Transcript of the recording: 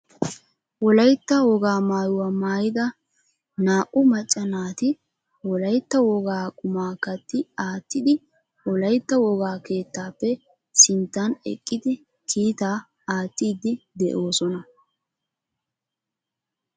Wolaytta wogaa maayyuwa maayyida naa"u macca naati wolaytta wogaa quma katti aattidi wolaytta wogaa keettappe sinttan eqqidi kiittaa aattidi de'oosona